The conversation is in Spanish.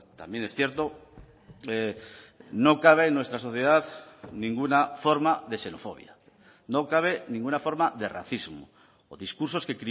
también es cierto no cabe en nuestra sociedad ninguna forma de xenofobia no cabe ninguna forma de racismo o discursos que